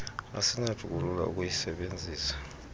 asinakuthi kulula ukuyisebenzisa